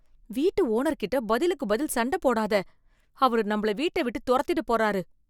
வீட்டு ஓனர்கிட்ட பதிலுக்கு பதில் சண்ட போடாத. அவரு நம்மள வீட்ட விட்டு துரத்திடப் போறாரு.